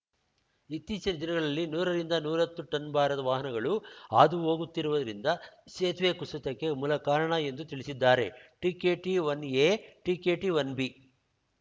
ಇತ್ತೀಚಿನ ದಿನಗಳಲ್ಲಿ ನೂರ ರಿಂದ ನೂರ ಹತ್ತು ಟನ್‌ ಭಾರದ ವಾಹನಗಳು ಹಾದು ಹೋಗುತ್ತಿರುವುದರಿಂದ ಸೇತುವೆ ಕುಸಿತಕ್ಕೆ ಮೂಲ ಕಾರಣ ಎಂದು ತಿಳಿಸಿದ್ದಾರೆ ಟಿಕೆಟಿಒನ್ ಎ ಟಿಕೆಟಿಒನ್ ಬಿ